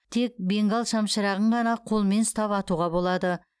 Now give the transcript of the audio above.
тек бенгал шамшырағын ғана қолмен ұстап атуға болады